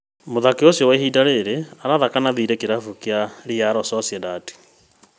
Mũthaki ũcio kwa ihinda rĩrĩ arathaka na thirĩ kĩrabu kĩa Real Sociedad